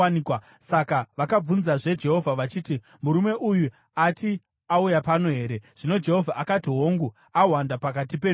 Saka vakabvunzazve Jehovha, vachiti, “Murume uyu ati auya pano here?” Zvino Jehovha akati, “Hongu, ahwanda pakati penhumbi.”